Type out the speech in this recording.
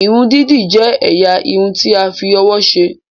Irun didi jẹ ẹ̀yà Irun ti a fí òwò ṣe.